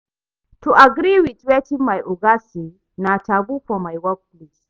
To agree with wetin my oga say na taboo for my workplace